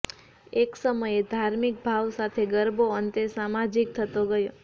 એક સમયે ધાર્મિક ભાવ સાથે ગરબો અંતે સામાજિક થતો ગયો